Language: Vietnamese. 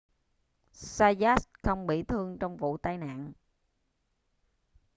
zayat không bị thương trong vụ tai nạn